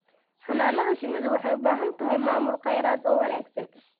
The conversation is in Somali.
Xannaanada shinnidu waxay u baahan tahay maamul khayraad oo wanaagsan.